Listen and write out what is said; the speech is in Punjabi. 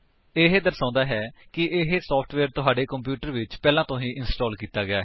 ਇਹ ਦਰਸ਼ਾਂਦਾ ਹੈ ਕਿ ਇਹ ਸੋਫਟਵੇਅਰ ਤੁਹਾਡੇ ਕੰਪਿਊਟਰ ਵਿੱਚ ਪਹਿਲਾਂ ਤੋਂ ਹੀ ਇੰਸਟਾਲ ਕੀਤਾ ਗਿਆ ਹੈ